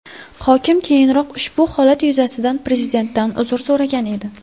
Hokim keyinroq ushbu holat yuzasidan Prezidentdan uzr so‘ragan edi .